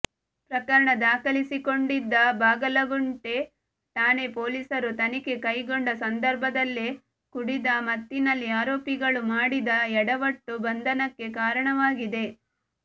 ಪ್ರಕರಣ ದಾಖಲಿಸಿಕೊಂಡಿದ್ದ ಬಾಗಲಗುಂಟೆ ಠಾಣೆ ಪೊಲೀಸರು ತನಿಖೆ ಕೈಗೊಂಡ ಸಂದರ್ಭದಲ್ಲೇ ಕುಡಿದ ಮತ್ತಿನಲ್ಲಿ ಆರೋಪಿಗಳು ಮಾಡಿದ ಯಡವಟ್ಟು ಬಂಧನಕ್ಕೆ ಕಾರಣವಾಗಿದೆ